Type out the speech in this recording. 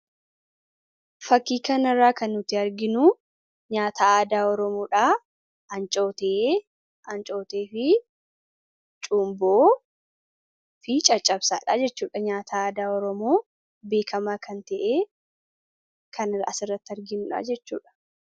Fakkii kanarraa kan nuti arginu nyaata aadaa Oromoodha. Ancootee, cumboo fi caccabsaadha. Nyaata aadaa Oromoo kan asirratti arginudha jechuudha.